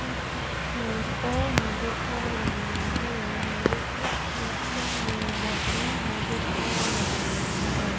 To मे car नजर आ रही है? मुझे इस फोटो में भगवान नजर आ रहे हैं।